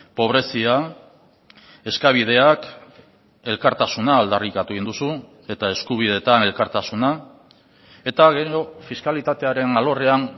pobrezia eskabideak elkartasuna aldarrikatu egin duzu eta eskubideetan elkartasuna eta gero fiskalitatearen alorrean